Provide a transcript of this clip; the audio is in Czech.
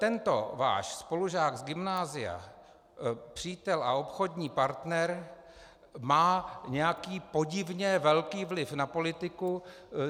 Tento váš spolužák z gymnázia, přítel a obchodní partner má nějaký podivně velký vliv na politiku.